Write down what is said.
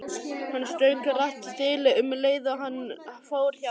Hann strauk rakt þilið um leið og hann fór hjá.